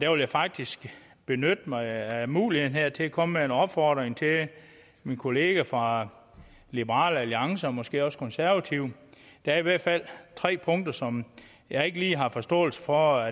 vil faktisk benytte mig af muligheden til at komme med en opfordring til min kollega fra liberal alliance og måske også til konservative der er i hvert fald tre punkter som jeg ikke lige har forståelse for